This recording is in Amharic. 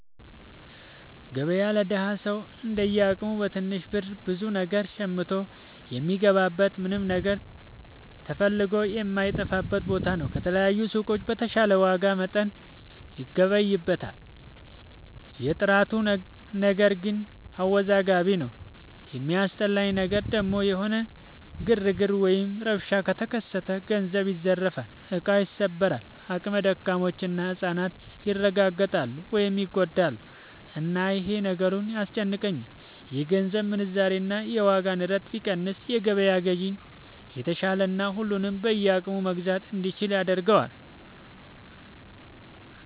ገበያ ለደሀ ሰው እንደየ አቅሙ በትንሽ ብር ብዙ ነገር ሸምቶ የሚገባበት ምንም ነገር ተፈልጎ የማይታጣበት ቦታ ነው። ከተለያዩ ሱቆች በተሻለ ዋጋና መጠን ይገበይበታል። የጥራቱ ነገር ግን አወዛጋቢ ነው። የሚያስጠላኝ ነገር ደግሞ የሆነ ግርግር ወይም ረብሻ ከተከሰተ ገንዘብ ይዘረፋል፣ እቃ ይሰበራል፣ አቅመ ደካሞች እና ህፃናት ይረጋገጣሉ (ይጎዳሉ)፣እና ይሄ ነገሩ ያስጨንቀኛል። የገንዘብ ምንዛሬ እና የዋጋ ንረት ቢቀንስ የገበያ ግዢ የተሻለና ሁሉም በየአቅሙ መግዛት እንዲችል ያደርገዋል።